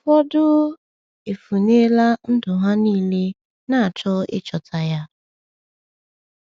Ụfọdụ um efunela ndụ ha niile na-achọ ịchọta ya.